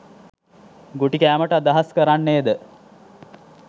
ගුටි කෑමට අදහස් කරන්නේද?